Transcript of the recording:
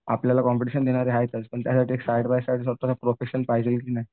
आपल्याला कॉम्पिटिशन देणार आहेत त्यासाठी साईड बाय साईड स्वतःचा प्रोफेशन पाहिजे का नाही?